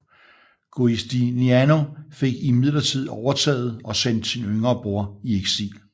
Giustiniano fik imidlertid overtaget og sendte sin yngre bror i eksil